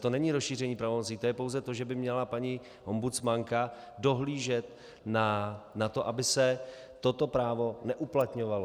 To není rozšíření pravomocí, to je pouze to, že by měla paní ombudsmanka dohlížet na to, aby se toto právo neuplatňovalo.